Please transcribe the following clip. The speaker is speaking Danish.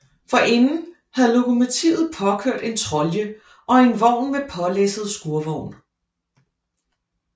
Forinden havde lokomotivet påkørt en trolje og en vogn med pålæsset skurvogn